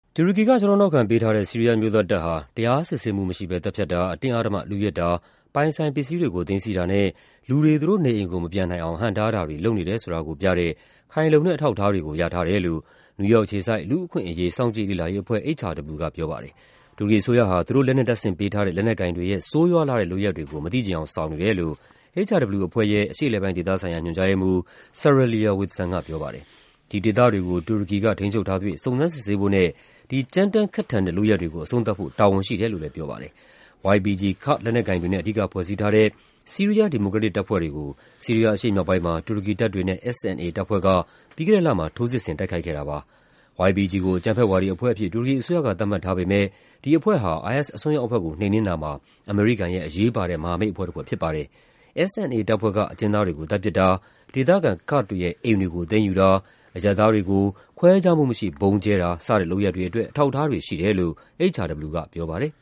တူရကီက ကျောထောက်နောက်ခံ ပေးထားတဲ့ ဆီးရီးယား အမျိုးသားတပ် ဟာ တရား ဥပဒေကြောင်းအရ စစ်ဆေးမှုမရှိဘဲ သတ်ဖြတ်တာ၊ အတင်း အဓမ္မလုယက်တာ၊ ပိုင်ဆိုင်ပစ္စည်းတွေကို သိမ်းဆည်းတာနဲ့ လူတွေ သူတို့နေအိမ်ကို မပြန်နိုင်အောင် ဟန့်တားတာတွေ လုပ်နေ တယ်ဆိုတာကိုပြတဲ့ ခိုင်လုံတဲ့ အထောက်အထားတွေကို ရထားတယ်လို့ နယူးယောက်အခြေစိုက် လူ့အခွင့်အရေး စောင့်ကြည့် လေ့လာရေးအဖွဲ့ HRW ကပြောပါတယ်။ တူရကီအစိုးရဟာ သူတို့ လက်နက်တပ်ဆင်ပေးထားတဲ့ လက်နက်ကိုင်တွေရဲ့ ဆိုးရွားလှတဲ့ လုပ်ရပ်တွေကို မသိချင်ယောင် ဆောင်နေတယ်လို့ HRW အဖွဲ့ရဲ့ အရှေ့အလယ်ပိုင်းဒေသ ဆိုင်ရာ ညွှန်ကြားရေးမှူး Sarah Leah Whitson ကပြောပါတယ်။ ဒီ ဒေသတွေကို တူရကီက ထိန်းချုပ်ထားသရွေ့ စုံစမ်းစစ်ဆေးဖို့နဲ့ ဒီ ကြမ်းတမ်းခက်ထန်တဲ့ လုပ်ရပ်တွေကို အဆုံးသတ်ဖို့ တာဝန်ရှိ တယ်လို့လည်းပြောပါတယ်။ YPG ကာ့ဒ်လက်နက်ကိုင်တွေနဲ့ အဓိကဖွဲ့စည်းထားတဲ့ ဆီးရီးယား ဒီမိုကရက်တစ်တပ်ဖွဲ့တွေကို ဆီးရီးယား အရှေ့မြောက်ပိုင်းမှာ တူရကီတပ်တွေနဲ့ SNA တပ်ဖွဲ့က ပြီးခဲ့တဲ့လမှာ ထိုးစစ်ဆင် တိုက်ခိုက်ခဲ့တာပါ။ YPG ကို အကြမ်းဖက်ဝါဒီ အဖွဲ့အဖြစ် တူရကီအစိုးရက သတ်မှတ်ထားပေမယ့် ဒီအဖွဲ့ဟာ IS အစွန်းရောက်အဖွဲ့ကို နှိမ်နင်းတာမှာ အမေရိကန်ရဲ့ အရေးပါတဲ့မဟာမိတ် အဖွဲ့တဖွဲ့ဖြစ်ပါတယ်။ SNA တပ်ဖွဲ့က အကျဉ်းသားတွေကို သတ်ပစ်တာ၊ ဒေသခံ ကာ့ဒ်တွေရဲ့ အိမ်တွေကို သိမ်းယူတာ၊ အရပ်သားတွေကို ခွဲခြားမှုမရှိ ဗုံးကျဲတာ စတဲ့လုပ်ရပ်တွေအတွက် အထောက်အထားတွေရှိတယ်လို့ HRW က ပြောပါတယ်